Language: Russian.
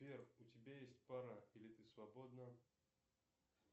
сбер у тебя есть пара или ты свободна